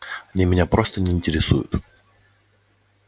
они меня просто не интересуют